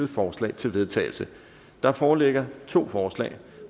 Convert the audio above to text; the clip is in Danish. forslag til vedtagelse der foreligger to forslag